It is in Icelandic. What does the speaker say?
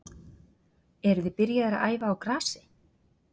Eruð þið byrjaðir að æfa á grasi?